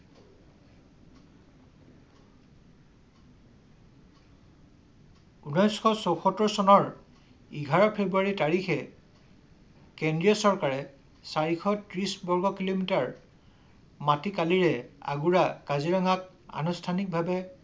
ঊনৈশ চৈয়সত্তৰ চনৰ এঘাৰ ফ্ৰেব্ৰুৱাৰী তাৰিখে কেন্দ্ৰীয় চৰকাৰে চাৰিশ তিশ বগ কিলোমিটাৰ মাটিকালিৰে আগুৰা কাজিৰঙাক আনুষ্ঠানিক ভাৱে